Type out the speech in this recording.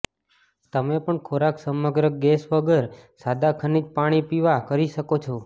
તમે પણ ખોરાક સમગ્ર ગેસ વગર સાદા ખનિજ પાણી પીવા કરી શકો છો